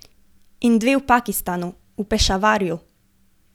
In dve v Pakistanu, v Pešavarju.